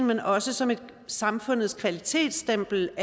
men også som samfundets kvalitetsstempel